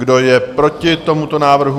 Kdo je proti tomuto návrhu?